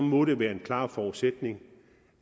må det være en klar forudsætning